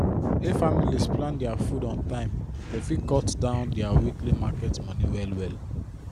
if families plan their food on time dem fit cut down their weekly market money well well